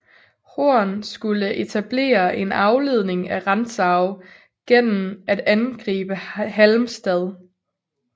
Horn skulle etablere en afledning af Rantzau gennem at angribe Halmstad